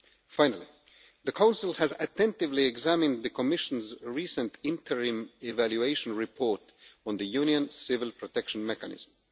Finally, the Council has attentively examined the Commission's recent interim evaluation report on the Union Civil Protection Mechanism.